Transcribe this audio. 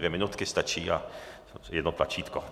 Dvě minutky stačí a jedno tlačítko.